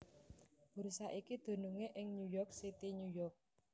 Bursa iki dunungé ing New York City New York